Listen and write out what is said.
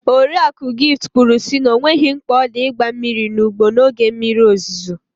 Oriakụ Gift kwuru sị na ọ nweghị mkpa odị ịgba mmiri n'ugbo n'oge mmiri ozuzo.